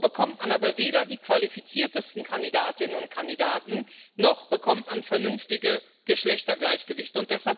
So bekommt man aber weder die qualifiziertesten Kandidatinnen und Kandidaten noch bekommt man ein vernünftiges Geschlechtergleichgewicht.